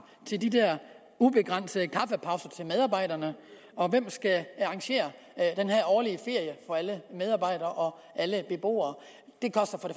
til de der ubegrænsede kaffepauser til medarbejderne og hvem skal arrangere den her årlige ferie for alle medarbejdere og alle beboere det koster for